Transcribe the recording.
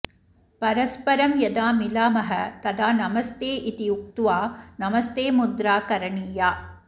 परस्परं यदा मिलामः तदा नमस्ते इति उक्वा नमस्तेमुद्रा करणीया